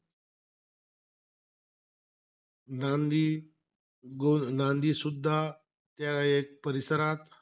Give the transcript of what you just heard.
नांदी गो नांदी सुद्धा त्या एक परिसरात,